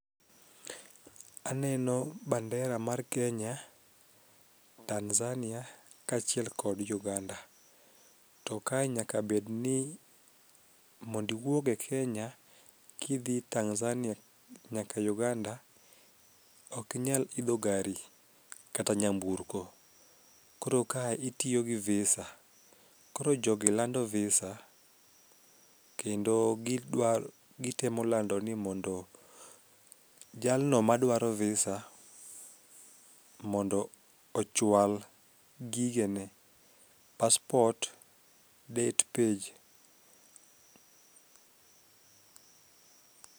Aneno bandera mar Kenya, Tanzania kaachiel kod Uganda. To ka nyakabedni mondiwuog e Kenya kidhi Tanzania nyaka Uganda okinyal idho gari kata nyaburko, koro ka itiyo gi visa koro jogi lando visa kendo gitemo lando ni mondo jalno madwaro visa mondo ochwal gigene passport date page.